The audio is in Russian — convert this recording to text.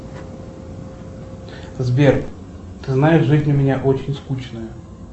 сбер ты знаешь жизнь у меня очень скучная